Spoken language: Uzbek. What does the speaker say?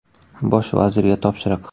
Bosh vazirga topshiriq.